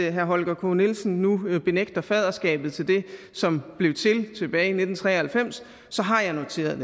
at herre holger k nielsen nu benægter faderskabet til det som blev til tilbage nitten tre og halvfems så har jeg noteret